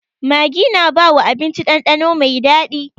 Maggi na bawa abinci dandano mai daɗi.